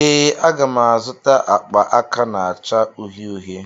Ee, m ga-azụta akpa aka na-acha uhie uhie.